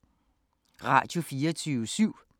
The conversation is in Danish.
Radio24syv